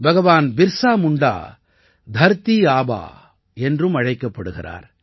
பகவான் பிர்ஸா முண்டா தர்தீ ஆபா என்றும் அழைக்கப்படுகிறார்